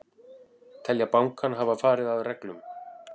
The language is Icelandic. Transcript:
Telja bankann hafa farið að reglum